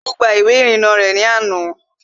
Tolú gba ìwé ìrìnnà rẹ̀ ní àná